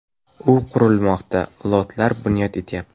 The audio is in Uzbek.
U qurilmoqda, lotlar bunyod etilyapti.